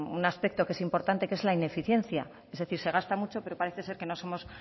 un aspecto que es importante que es la ineficiencia es decir que se gasta mucho pero parece ser que no somos